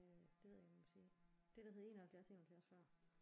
Øh det ved jeg ikke om jeg må sige det der hed 71 71 før